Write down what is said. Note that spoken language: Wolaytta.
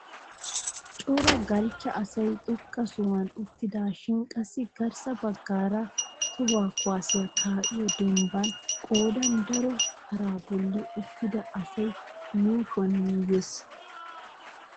Cora galchcha asay xoqqa sohuwaan uttidashin qassi garssa baggaara toho kuwaasiyaa ka'iyoo denbban qoodan daro paraa bolli uttida asay yuushshuwaa yuuyyees!